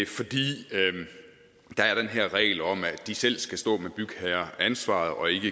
fordi der er den her regel om at de selv skal stå med bygherreansvaret og ikke